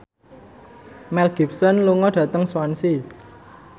Mel Gibson lunga dhateng Swansea